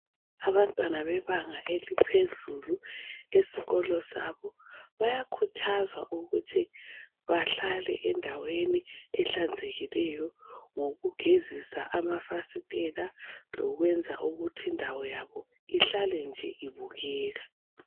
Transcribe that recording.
Abantwana bebanga eliphezulu esikolo sabo bayakhuthazwa ukuthi bahlale endaweni ehlanzekileyo ngokugezisa amafasitela lokuthi indawo yabo ihlale nje ibukeka.